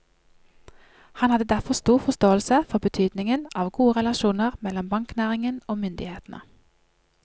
Han hadde derfor stor forståelse for betydningen av gode relasjoner mellom banknæringen og myndighetene.